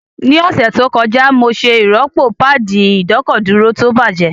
Ní ọ̀sẹ̀ tó kọjá, mo ṣe ìrọ́pò páàdì ìdọ́kọ̀dúró tó bàjẹ́